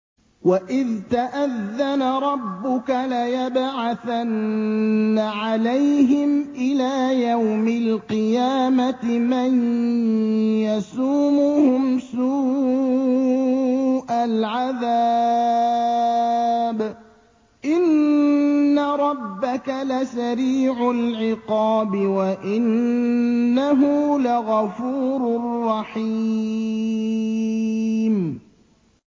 وَإِذْ تَأَذَّنَ رَبُّكَ لَيَبْعَثَنَّ عَلَيْهِمْ إِلَىٰ يَوْمِ الْقِيَامَةِ مَن يَسُومُهُمْ سُوءَ الْعَذَابِ ۗ إِنَّ رَبَّكَ لَسَرِيعُ الْعِقَابِ ۖ وَإِنَّهُ لَغَفُورٌ رَّحِيمٌ